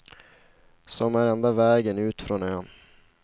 Som är enda vägen ut från ön.